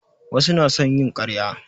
Wasu na son yin ƙarya